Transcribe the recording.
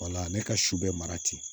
Wala ne ka su bɛ mara ten